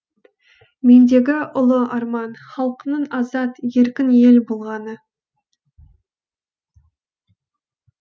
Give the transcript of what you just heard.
мендегі ұлы арман халқымның азат еркін ел болғаны